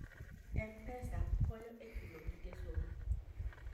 M-Pesa konyo e chulo gige somo.